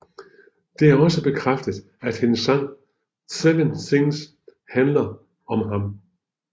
Det er også bekræftet at hendes sang 7 Things handler om ham